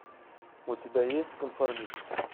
у тебя есть конформист